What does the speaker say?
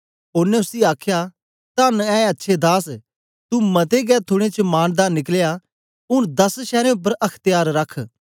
ओनें उसी आखया तन्न ए अच्छे दास तू मते गै थूड़ें च मानदार निकलया ऊन दस शैरें उपर अख्त्यार रख